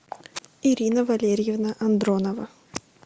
ирина валерьевна андронова